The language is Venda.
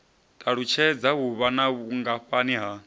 ṱalutshedza vhuvha na vhungafhani ha